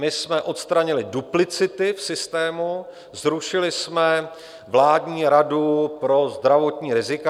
My jsme odstranili duplicity v systému, zrušili jsme Vládní radu pro zdravotní rizika.